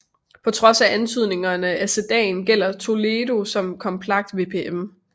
På trods af antydningen af sedan gælder Toledo som kompakt MPV